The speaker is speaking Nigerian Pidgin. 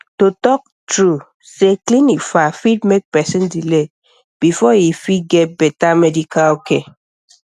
to talk true say clinic far fit make person delay before e fit get better medical care